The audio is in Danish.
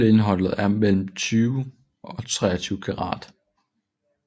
Guldindholdet er mellem 20 og 23 karat